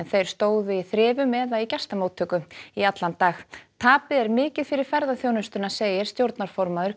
þeir stóðu í þrifum eð a í gestamóttöku í allan dag tapið er mikið fyrir ferðaþjónustuna segir stjórnarformaður